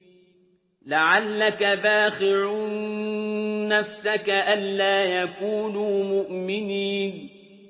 لَعَلَّكَ بَاخِعٌ نَّفْسَكَ أَلَّا يَكُونُوا مُؤْمِنِينَ